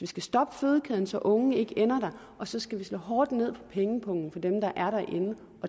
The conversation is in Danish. skal stoppe fødekæden så unge ikke ender der og så skal vi slå hårdt ned pengepungen for dem der er derinde og